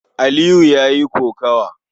Aliyu ya yi kokawa.